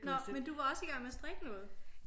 Nå men du var også i gang med at strikke noget?